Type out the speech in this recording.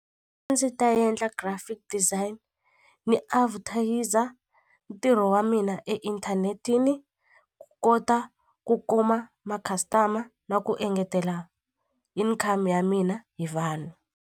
A ndzi ta endla graphic design ni ntirho wa mina e internet-ini then ku kota ku kuma ma customer na ku engetela income ya mina hi vanhu.